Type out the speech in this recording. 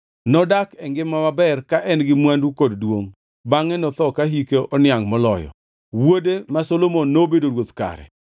Nodak e ngima maber ka en-gi mwandu kod duongʼ, bangʼe notho ka hike noniangʼ moloyo. Wuode ma Solomon nobedo ruoth kare.